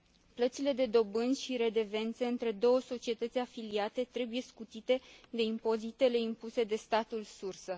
Plățile de dobânzi și redevențe între două societăți afiliate trebuie scutite de impozitele impuse de statul sursă.